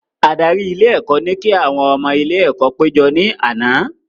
Adarí ilé ẹ̀kọ́ ní kí àwọn ọmọ ilé ẹ̀kọ́ pé jọ ní àná